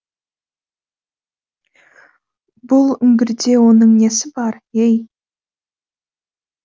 бұл үңгірде оның несі бар ей